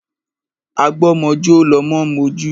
Agba ọmọ jọ́ lọmọ ń mojú.